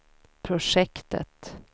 projektet